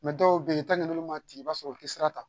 dɔw bɛ yen n'olu ma tigɛ i b'a sɔrɔ u tɛ sira ta